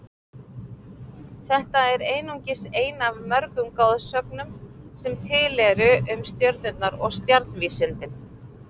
Þetta er einungis ein af mörgum goðsögnum sem til eru um stjörnurnar og stjarnvísindin.